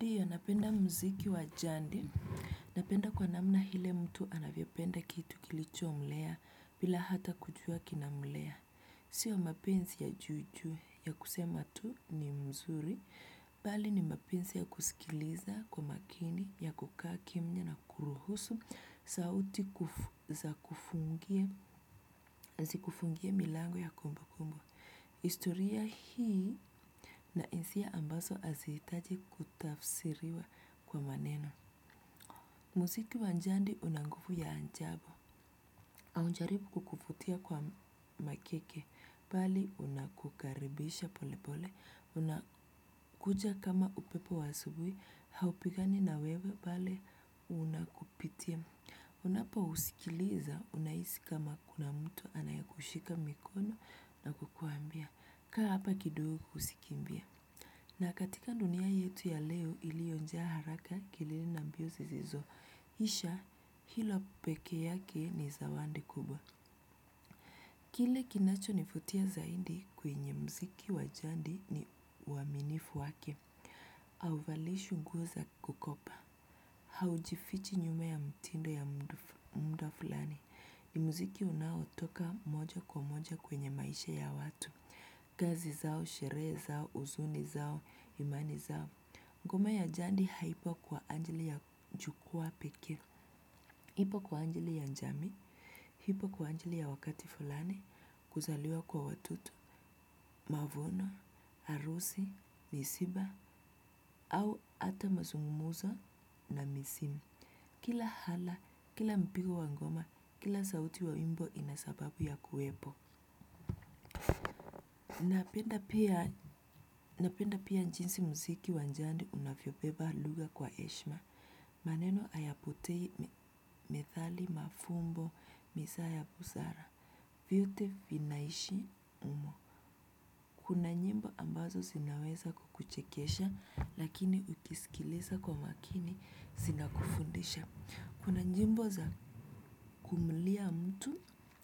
Diyo, napenda mziki wa jandi. Napenda kwa namna hile mtu anavyopenda kitu kilicho mlea bila hata kujua kinamlea. Sio mapensi ya juu juu ya kusema tu ni mzuri, pali ni mapensi ya kusikiliza kwa makini ya kukaa kimnya na kuruhusu sauti zikufungie milango ya kumbu kumbu. Historia hii na insia ambazo hazihitaji kutafsiriwa kwa maneno. Muziki wanjandi unangufu ya anjabo. Aunjaribu kukuvutia kwa makeke, bali unakukaribisha pole pole, unakuja kama upepo wa asubui, haupigani na wewe, bali unakupitia. Unapo usikiliza unaisi kama kuna mtu anayekushika mikono na kukuambia. Kaa hapa kidogo ukusikimbia. Na katika dunia yetu ya leo ilionjaa haraka kelele na mbio zizizo isha hilo peke yake ni zawandi kubwa kile kinachonivutia zaidi kwenye mziki wa jandi ni uaminifu wake. Auvalishwi nguo za kukopa. Haujifichi nyuma ya mtindo ya munda fulani mziki unaotoka moja kwa moja kwenye maisha ya watu. Kazi zao, sheree zao, uzuni zao, imani zao. Ngoma ya jandi haipo kwa anjili ya jukwaa pekee. Hipo kwa anjili ya njamii. Hipo kwa anjili ya wakati fulani kuzaliwa kwa watoto mavuno harusi misiba au ata mazungumuzo na misim kila hala, kila mpigo wa ngoma kila sauti wa wimbo inasababu ya kuwepo. Napenda pia njinsi mziki wanjandi unafyobeba luga kwa eshma. Maneno ayapotei methali mafumbo misaa ya busara. Vyote vinaishi umo. Kuna nyimbo ambazo sinaweza kukuchekesha lakini ukisikilisa kwa makini sina kufundisha. Kuna nyimbo za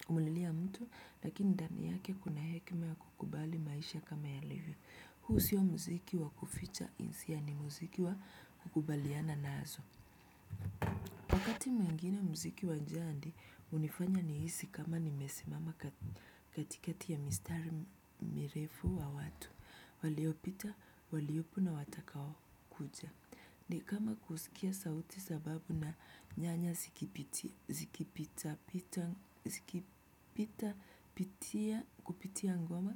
kumlilia mtu lakini ndani yake kuna hekma ya kukubali maisha kama yalivyo huu sio mziki wa kuficha hisia ni mziki wa kukubaliana nazo. Iti mwingine mziki wa njandi unifanya nihisi kama nimesimama katikati ya mistari mirefu wa watu. Waliopita, waliopu na watakao kuja. Ni kama kuskia sauti za babu na nyanya zikipitia zikipita pitia kupitia ngoma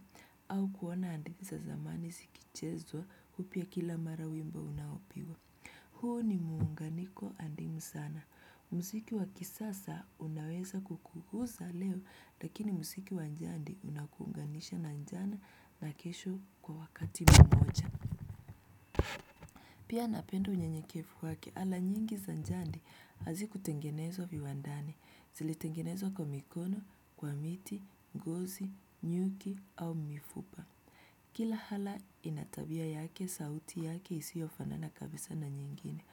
au kuona hadithi za zamani zikichezwa upya kila mara wimbo unaopigwa. Huu ni muunganiko andimu sana. Msiki wakisasa unaweza kukuhuza leo lakini msiki wanjandi unakuunganisha na njana na kesho kwa wakati mmoja. Pia napenda unyenyekefu wake ala nyingi za njandi hazikutengenezwo viwandani zili tengenezao kwa mikono, kwa miti, ngozi, nyuki au mifuba. Kila hala inatabia yake sauti yake isiyo fanana kabisaa na nyingine.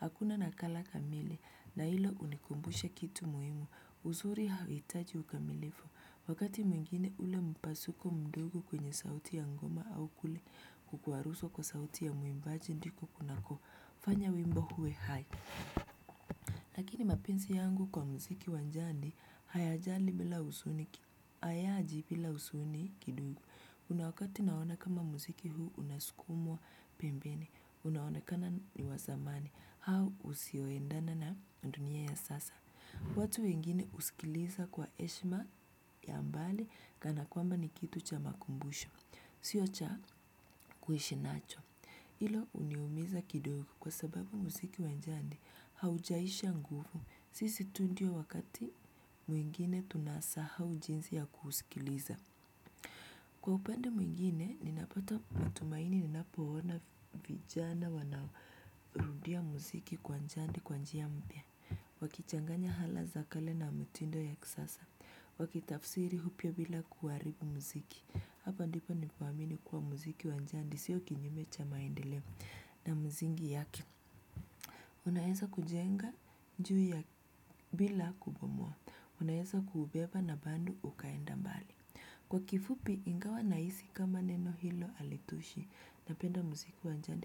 Hakuna nakala kamile na hilo unikumbusha kitu muimu. Uzuri hauhitaji ukamilifu. Wakati mwingine ule mpasuko mdogo kwenye sauti ya ngoma au kule kukuaruswo kwa sauti ya muimbaji ndiku kunaku fanya wimbo huwe hai. Lakini mapinsi yangu kwa mziki wanjandi, hayaji bila usuni kidugu. Kuna wakati naona kama muziki huu unaskumwa pembeni unaonekana ni wa samani au usioendana na dunia ya sasa. Watu wengine uskiliza kwa eshma ya mbali kana kwamba ni kitu cha makumbusho, sio cha kuhishinacho. Hilo uniumiza kidogo kwa sababu muziki wanjandi haujaisha nguvu. Sisi tu ndio wakati mwingine tunasa hau jinsi ya kuhusikiliza. Kwa upande mwingine, ninapota mutumaini ninapoona vijana wanarudia muziki kwa njandi kwa njia mpya. Wakichanganya hala za kale na mitindo ya kisasa wakitafsiri hupyo bila kuharibu mziki. Hapa ndipo nipoamini kuwa muziki wa njandi, sio kinyime cha maendeleo na muzingi yake. Unaeza kujenga njui ya bila kubomoa. Unaeza kuubeba na bandu ukaenda mbali. Kwa kifupi ingawa naisi kama neno hilo alitoshi napenda muziku wanjande.